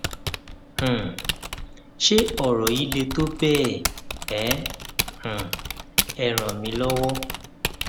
um ṣé ọrọ yìí le tó bẹẹ ẹ um jọwọ ẹ ràn mí lọwọ